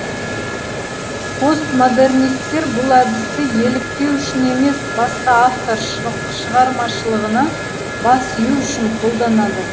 постмодернистер бұл әдісті еліктеу үшін емес басқа автор шығармашылығына бас ию үшін қолданады